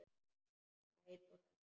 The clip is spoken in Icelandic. Sæt og hlý.